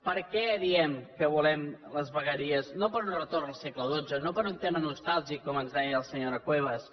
per què diem que volem les vegueries no per un retorn al segle xii no per un tema nostàlgic com ens deia la senyora cuevas